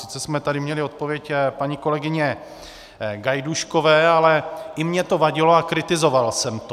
Sice jsme tady měli odpověď paní kolegyně Gajdůškové, ale i mně to vadilo a kritizoval jsem to.